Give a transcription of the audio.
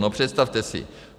No, představte si.